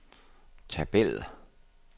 tabel